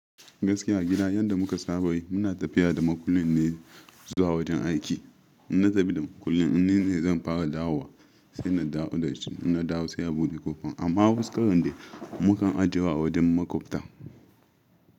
Gaskiya a gida yadda muka saba yi muna tafiya da makullin ne zuwa wajen aiki. Ina tafi da makullin ni ne zan fara dawo wa sai na dawo da shi. Ina dawo sai a bude ƙofa amma huskarin da muka ajiye wa wajen maƙwabta.